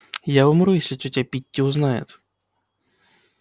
я умру если тётя питти узнает